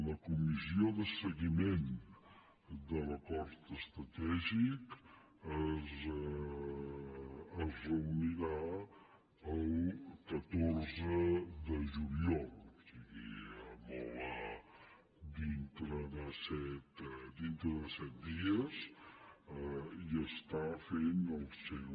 la comissió de seguiment de l’acord estratègic es reunirà el catorze de juliol o sigui dintre de set dies i està fent el seu